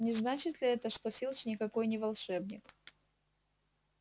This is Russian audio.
не значит ли это что филч никакой не волшебник